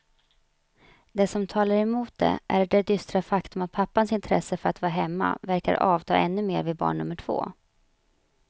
Det som talar emot det är det dystra faktum att pappans intresse för att vara hemma verkar avta ännu mer vid barn nummer två.